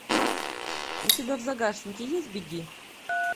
у тебя в загашнике есть беги